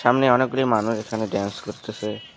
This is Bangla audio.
সামনে অনেকগুলি মানুষ এখানে ড্যান্স করতেসে।